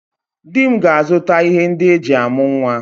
Di m ga-azuta ihe ndị eji amụ nwa